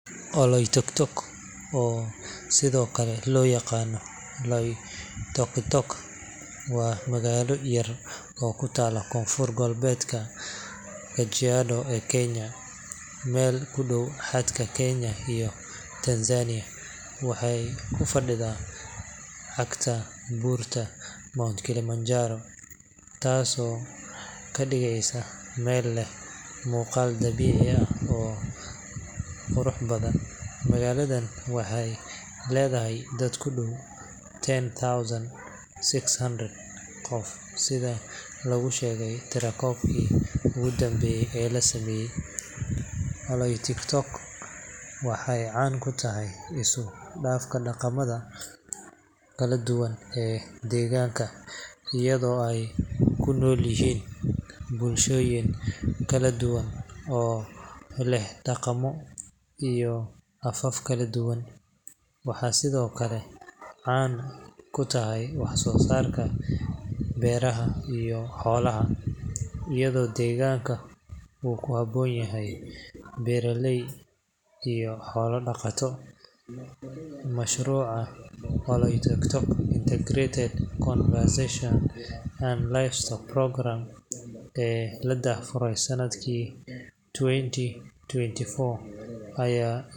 Oloitoktok, oo sidoo kale loo yaqaan Loitokitok, waa magaalo yar oo ku taalla Koonfurta Gobolka Kajiado ee Kenya, meel u dhow xadka Kenya iyo Tanzania. Waxay ku fadhidaa cagta buurta Mount Kilimanjaro, taasoo ka dhigaysa meel leh muuqaal dabiici ah oo qurux badan. Magaaladan waxay leedahay dad ku dhow ten thousand six hundred qof, sida lagu sheegay tirakoobkii ugu dambeeyay ee la sameeyay .Oloitoktok waxay caan ku tahay isku dhafka dhaqamada kala duwan ee deegaanka, iyadoo ay ku nool yihiin bulshooyin kala duwan oo leh dhaqamo iyo afaf kala duwan. Waxay sidoo kale caan ku tahay wax soo saarka beeraha iyo xoolaha, iyadoo deegaanka uu ku habboon yahay beeraleyda iyo xoolo-dhaqatada. Mashruuca Oloitoktok Integrated Conservation and Livelihood Programme ee la daahfuray sanadkii twenty twenty-four ayaa.